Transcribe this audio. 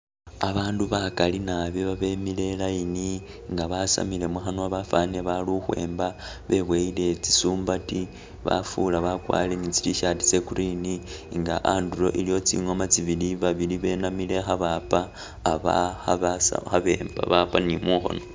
Abandu bakali nabi babemile e'line nga basamile mukhanwa bafanile bali ukhwemba, bebonyele tsisumbati bafula bakwalire ni tsi t-shirt tse green, nga anduro iliwo tsingoma tsibili, babili benamile kha bapa aba khabasa khabemba, kha bapa ni mukhono